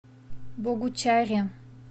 богучаре